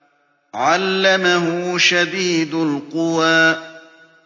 عَلَّمَهُ شَدِيدُ الْقُوَىٰ